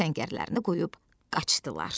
Öz səngərlərini qoyub qaçdılar.